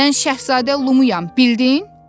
Mən şahzadə Lumuyam, bildin?